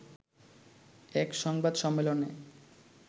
এক সংবাদ সম্মেলনে